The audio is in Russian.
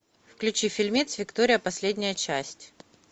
включи фильмец виктория последняя часть